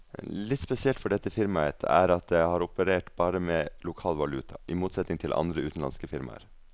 Litt spesielt for dette firmaet er at det har operert bare med lokal valuta, i motsetning til andre utenlandske firmaer.